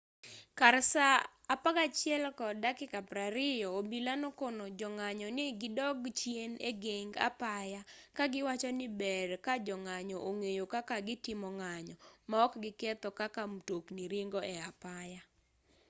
kar saa 11:20 obila nokono jong'anyo ni gidog chien egeng apaya kagiwacho ni ber kajong'anyo ong'eyo kaka gitimo ng'anyo maok giketho kaka mtokni ringo e apaya